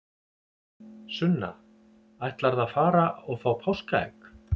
Sunna: Ætlarðu að fara og fá páskaegg?